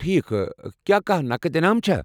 ٹھیک، کیا کانٛہہ نقد انعام چھا؟